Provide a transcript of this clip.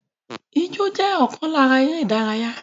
Ijó jẹ́ ọ̀kan lára eré-ìdárayá